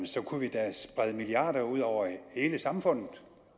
så kunne vi da sprede milliarder ud over hele samfundet